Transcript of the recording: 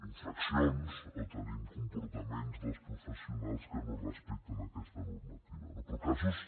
infraccions o tenim comportaments dels professionals que no respecten aquesta normativa no però casos